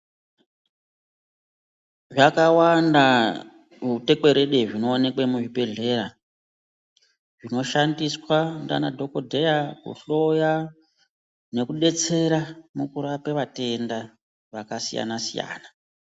Zvakawanda zvitekwerede zvinoonekwa muzvibhedhlera zvinoshandiswa nanadhokoteya kuhloya nekudetsera mukurapa vatenda vakasiyani siyana.